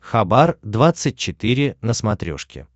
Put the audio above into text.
хабар двадцать четыре на смотрешке